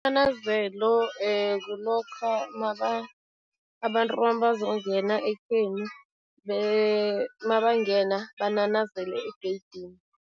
kulokha abantu mabazongena ekhenu, mabangena bananazele egeyidini.